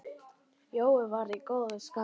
Jói var í góðu skapi.